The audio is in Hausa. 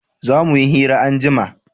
za muyi hira anjima